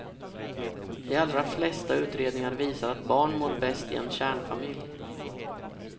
De allra flesta utredningar visar att barn mår bäst i en kärnfamilj.